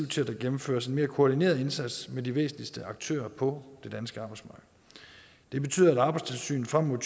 til at der gennemføres en mere koordineret indsats med de væsentligste aktører på det danske arbejdsmarked det betyder at arbejdstilsynet frem mod